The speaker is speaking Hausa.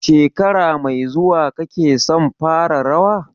Shekara mai zuwa kake son fara rawa?